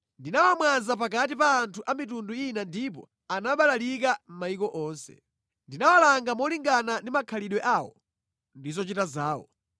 Ndinawamwaza pakati pa anthu a mitundu ina ndipo anabalalikira mʼmayiko onse. Ndinawalanga molingana ndi makhalidwe awo ndi zochita zawo.